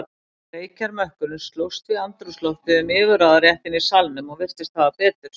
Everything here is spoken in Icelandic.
Reykjarmökkurinn slóst við andrúmsloftið um yfirráðaréttinn í salnum og virtist hafa betur.